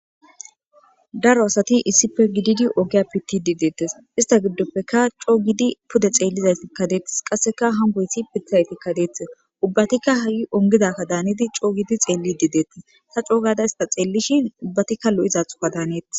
Daro asati issife gididi ogiya pittidi deettes ista giddoppeka coo gidi pude xeellizaytikkadeettis qasseka hangoyti pittizaytikkadeetis ubbatikka ha7i ongidakka daanidi coo giidi xeellidi deettis ta coo gada ista xeellishin ubbatikka lo7izathuka daaneettis.